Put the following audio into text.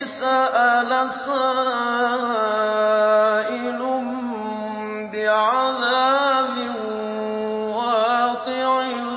سَأَلَ سَائِلٌ بِعَذَابٍ وَاقِعٍ